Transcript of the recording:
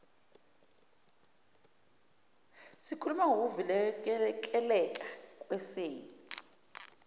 sikhuluma ngokuvikeleka kwesen